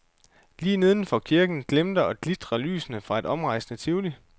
Lige nedenfor kirken glimter og glitrer lysene fra et omrejsende tivoli.